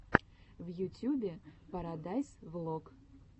в ютьюбе парадайз влог